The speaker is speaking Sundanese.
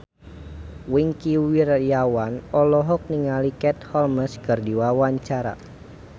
Wingky Wiryawan olohok ningali Katie Holmes keur diwawancara